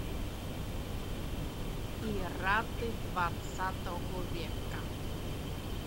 пираты двадцатого века